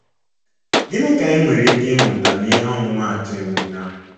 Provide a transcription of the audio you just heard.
Gịnị ka anyị nwere ike ịmụta n’ihe omumaatụ Emeka?